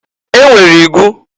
E nwere igu.